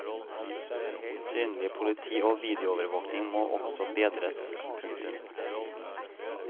Synlig politi og videoovervåking må også bedres. punktum